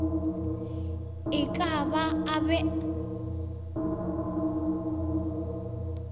e ka ba a be